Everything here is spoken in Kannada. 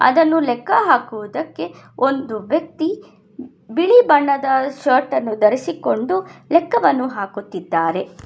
ಇದನ್ನು ಲೆಕ್ಕ ಹಾಕುವುದಕ್ಕೆ ಒಂದು ವ್ಯಕ್ತಿ ಬಿಳಿ ಬಣ್ಣದ ಶರ್ಟ್ ಅನ್ನು ಧರಿಸಿಕೊಂಡು ಲೆಕ್ಕವನ್ನು ಹಾಕುತ್ತಿದ್ದಾರೆ.